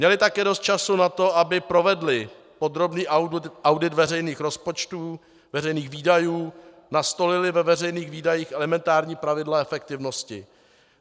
Měly také dost času na to, aby provedly podrobný audit veřejných rozpočtů, veřejných výdajů, nastolily ve veřejných výdajích elementární pravidla efektivnosti.